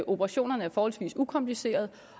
operationerne er forholdsvis ukomplicerede